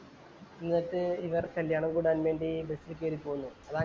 എന്നിട്ട് ഇവർ കല്യാണം കൂടാൻ വേണ്ടി ബസീ കേറി പോകുന്നു.